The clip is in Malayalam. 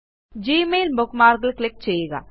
ഗ്മെയിൽ bookmarkൽ ക്ലിക്ക് ചെയ്യുക